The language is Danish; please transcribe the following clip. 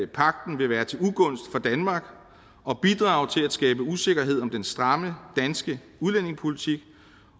pagten vil være til ugunst for danmark og bidrage til at skabe usikkerhed om den stramme danske udlændingepolitik